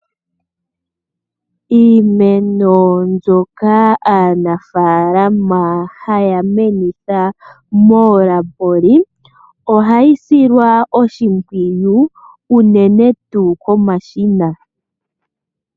Iimeno mbyoka aanafaalama haya menitha moolaboli ohayi silwa oshimpwiyu unene tuu komashina.